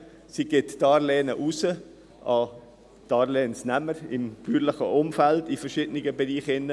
Sie gibt Darlehen an Darlehensnehmer im bäuerlichen Umfeld in verschiedenen Bereichen.